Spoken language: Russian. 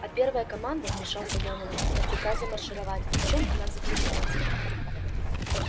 а первая команда вмешался донован до приказа маршировать в чем она заключалась